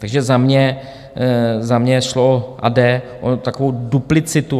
Takže za mě šlo a jde o takovou duplicitu.